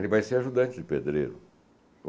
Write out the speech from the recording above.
Ele vai ser ajudante de pedreiro.